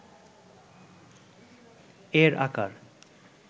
এর আকার